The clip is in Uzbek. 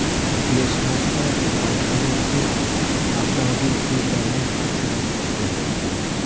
Fleshmobda Baykalorti avtomobil klublarining aksariyati ishtirok etdi.